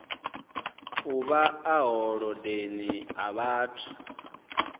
uvha ḽa holodeni ḽa vhathu